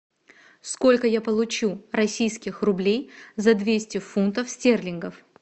сколько я получу российских рублей за двести фунтов стерлингов